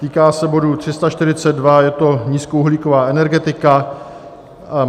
Týká se bodu 342, je to nízkouhlíková energetika.